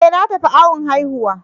E! Na tafi awon haihuwa.